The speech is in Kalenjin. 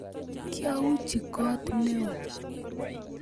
Kiauchi kot neo